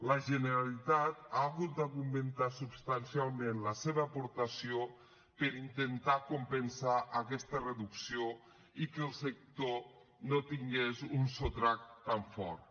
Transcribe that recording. la generalitat ha hagut d’augmentar substancialment la seva aportació per intentar compensar aquesta reducció i que el sector no tingués un sotrac tan fort